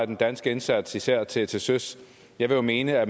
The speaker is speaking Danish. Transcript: den danske indsats især til til søs jeg vil jo mene at